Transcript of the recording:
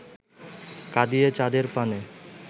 কাঁদিয়ে চাঁদের পানে